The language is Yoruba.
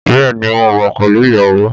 Bẹ́ẹ̀ ni, mo wà pẹ̀lú ìyàwó